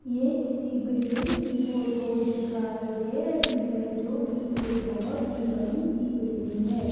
ये किसी बिल्डिंग की फोटो दिखाई दे रही है जो की एक बहोत ही बड़ी सी बिल्डिंग है।